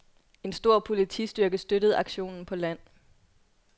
En stor politistyrke støttede aktionen på land.